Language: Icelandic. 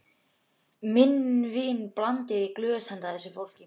Minn vin blandaði í glös handa þessu fólki.